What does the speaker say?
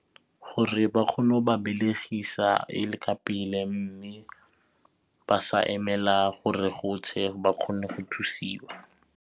Gore ba kgone go ba belegisa e le ka pele mme ba sa emela gore ba kgone go thusiwa.